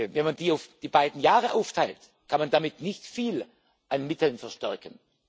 Wenn man die auf die beiden Jahre aufteilt, kann man damit nicht viel an Mitteln verstärken.